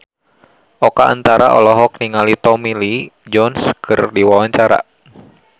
Oka Antara olohok ningali Tommy Lee Jones keur diwawancara